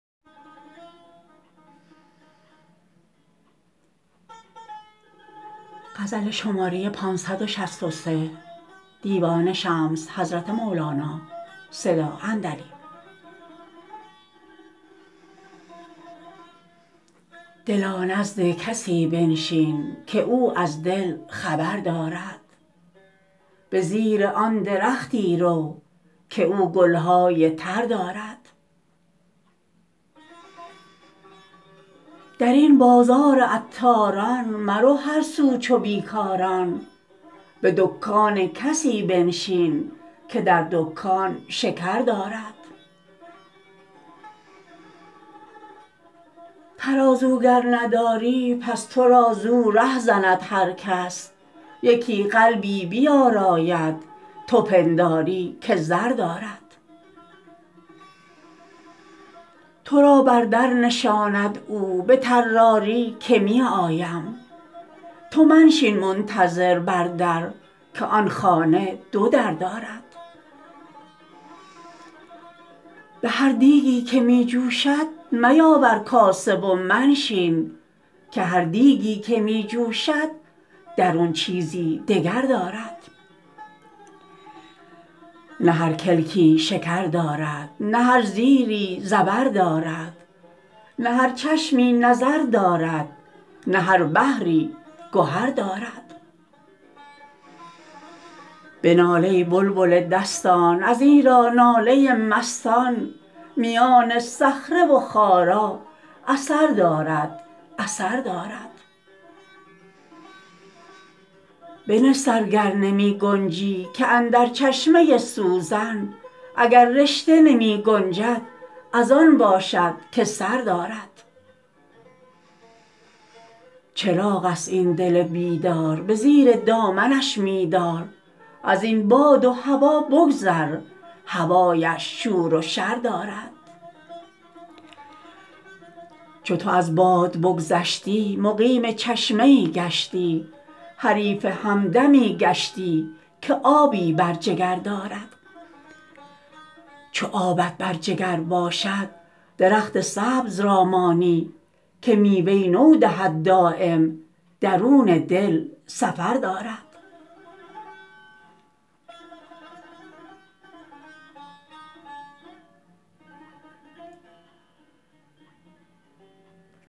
دلا نزد کسی بنشین که او از دل خبر دارد به زیر آن درختی رو که او گل های تر دارد در این بازار عطاران مرو هر سو چو بی کاران به دکان کسی بنشین که در دکان شکر دارد ترازو گر نداری پس تو را زو ره زند هر کس یکی قلبی بیاراید تو پنداری که زر دارد تو را بر در نشاند او به طراری که می آید تو منشین منتظر بر در که آن خانه دو در دارد به هر دیگی که می جوشد میاور کاسه و منشین که هر دیگی که می جوشد درون چیزی دگر دارد نه هر کلکی شکر دارد نه هر زیری زبر دارد نه هر چشمی نظر دارد نه هر بحری گهر دارد بنال ای بلبل دستان ازیرا ناله مستان میان صخره و خارا اثر دارد اثر دارد بنه سر گر نمی گنجی که اندر چشمه سوزن اگر رشته نمی گنجد از آن باشد که سر دارد چراغ است این دل بیدار به زیر دامنش می دار از این باد و هوا بگذر هوایش شور و شر دارد چو تو از باد بگذشتی مقیم چشمه ای گشتی حریف همدمی گشتی که آبی بر جگر دارد چو آبت بر جگر باشد درخت سبز را مانی که میوه نو دهد دایم درون دل سفر دارد